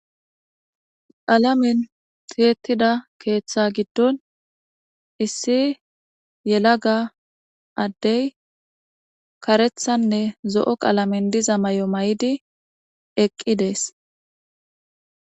Alamin tiyetida keeththa giddon issi yelaga addey karethanne zo7o qalamin diza may7o may7idi eqqi dees